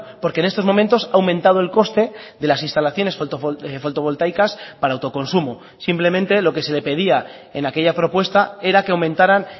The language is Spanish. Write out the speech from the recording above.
porque en estos momentos ha aumentado el coste de las instalaciones fotovoltaicas para autoconsumo simplemente lo que se le pedía en aquella propuesta era que aumentaran